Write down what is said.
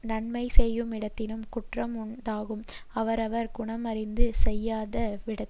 நன்மையை செய்யுமிடத்தினும் குற்றமுண்டாம் அவரவர் குணமறிந்து செய்யாத விடத்து